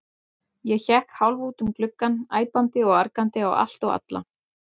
Ég hékk hálf út um gluggann, æpandi og argandi á allt og alla.